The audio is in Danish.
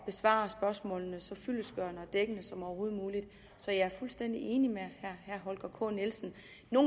besvare spørgsmålene så fyldestgørende og dækkende som overhovedet muligt så jeg er fuldstændig enig med herre holger k nielsen nogle